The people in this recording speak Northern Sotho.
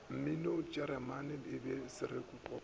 mminokua jeremane le bele swerekopano